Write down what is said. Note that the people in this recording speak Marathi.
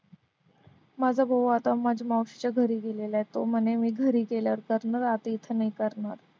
माझा भाऊ आता माझ्या मावशीच्या घरी गेलेला आहे तो म्हणे मी घरी गेल्यावर